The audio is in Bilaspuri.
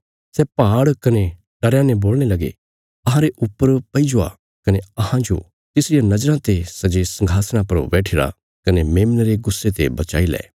सै पहाड़ कने टरयां ने बोलणे लगे अहांरे ऊपर पैई जावा कने अहांजो तिसरिया नज़राँ ते सै जे संघासणा पर बैठिरा कने मेमने रे गुस्से ते बचाई लै